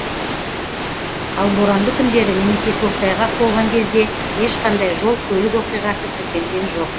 ал боранды күндері немесе көктайғақ болған кезде ешқандай жол көлік оқиғасы тіркелген жоқ